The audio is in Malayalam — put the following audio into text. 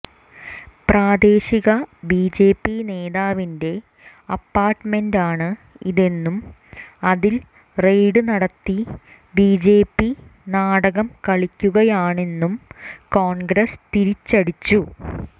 പ്രാദേശിക ബിജെപി നേതാവിന്റെ അപ്പാർട്മെന്റാണ് ഇതെന്നും അതിൽ റെയ്ഡ് നടത്തി ബിജെപി നാടകം കളിക്കുകയാണെന്നും കോൺഗ്രസ് തിരിച്ചടിച്ചു